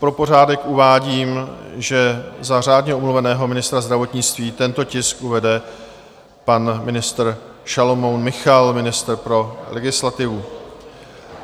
Pro pořádek uvádím, že za řádně omluveného ministra zdravotnictví tento tisk uvede pan ministr Šalomoun Michal, ministr pro legislativu.